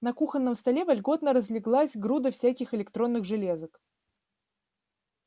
на кухонном столе вольготно разлеглась груда всяких электронных железок